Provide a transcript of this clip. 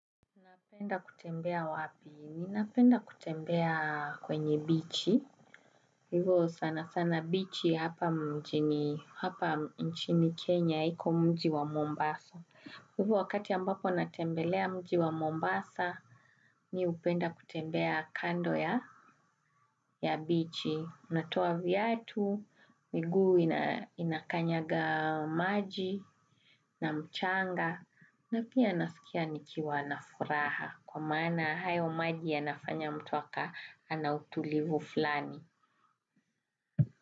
Napenda kutembea wapi? Ninapenda kutembea kwenye bichi. Hivo sana sana bichi hapa mjini hapa nchini Kenya, iko mji wa Mombasa. Hivo wakati ambapo natembelea mji wa Mombasa, mi hupenda kutembea kando ya bichi. Unatoa viatu, miguu inakanyaga maji na mchanga. Na pia nafikia nikiwa na furaha kwa maana hayo maji yanafanya mtu ana utulivu fulani.